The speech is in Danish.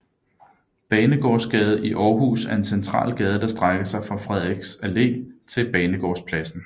Banegårdsgade i Aarhus er en central gade der strækker sig fra Frederiks Allé til Banegårdspladsen